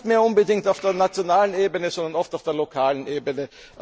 Gar nicht mehr unbedingt auf der nationalen Ebene, sondern oft auf der lokalen Ebene.